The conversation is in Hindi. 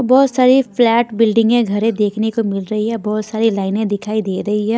बहुत सारी फ्लैट बिल्डिंगे घरें देखने को मिल रही है बहुत सारी लाइनें दिखाई दे रही है।